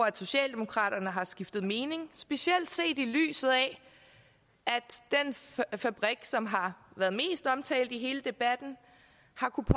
at socialdemokraterne har skiftet mening specielt set i lyset af at den fabrik som har været mest omtalt i hele debatten